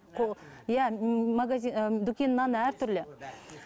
иә і дүкеннің наны әртүрлі